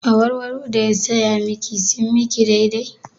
Awarwaro da ya saya miki sun miki daidai?